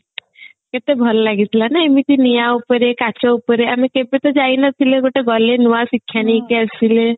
କେତେ ଭଲ ଲାଗିଥିଲା ନାଁ ଏମିତି ନିଆଁ ଉପରେ କାଚ ଉପରେ ଆମେ କେବେ ତ ଯାଇନଥିଲେ ଗଟ ଏଗଲେ ନୂଆ ଶିକ୍ଷା ନେଇକି ଆସିଲେ